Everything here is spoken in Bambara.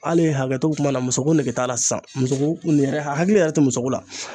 Hali hakɛto be kuma na muso ko nege t'a la sisan muso ko nin yɛrɛ hakili yɛrɛ te muso ko la